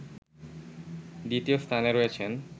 দ্বিতীয় স্থানে রয়েছেন